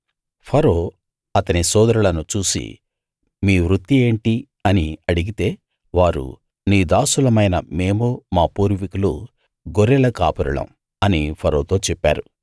ఫరో అతని సోదరులను చూసి మీ వృత్తి ఏంటి అని అడిగితే వారు నీ దాసులమైన మేమూ మా పూర్వికులు గొర్రెల కాపరులం అని ఫరోతో చెప్పారు